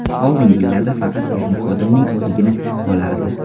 Oldingi yillarda faqat texnik xodimning o‘zigina qolardi.